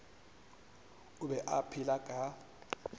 o be a phela ka